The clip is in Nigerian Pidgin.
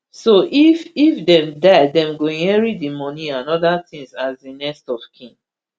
so if if dem die dem go inherit di moni and oda tins as di next of kin